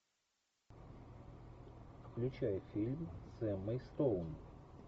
включай фильм с эммой стоун